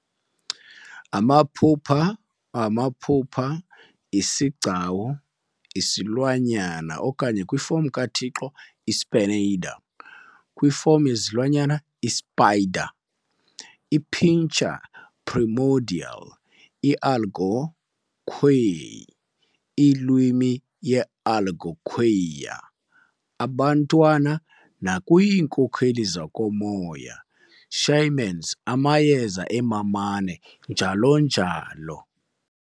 Amaphupha, amaphupha, isigcawu esilwanyana okanye kwifom kaThixo, i-spinader kwifom yeZilwanyana, iSpider, i-Pintur Premordial I-Algonquilwimi ye-Algonquia, abantwana nakwiinkokeli zokomoya Shamans, amayeza e-MAMANE, njl. Njl.